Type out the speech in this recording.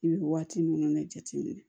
I bɛ waati ninnu de jateminɛ